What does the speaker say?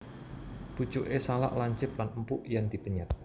Pucuké salak lancip lan empuk yèn dipenyèt